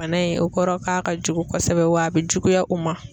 Bana in o kɔrɔ k'a ka jugu kɔsɛbɛ wa a bɛ juguya u ma.